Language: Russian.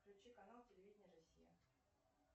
включи канал телевидения россия